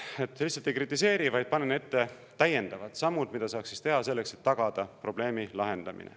Nii et ma lihtsalt ei kritiseeri, vaid panen ette täiendavad sammud, mida saaks teha selleks, et tagada probleemi lahendamine.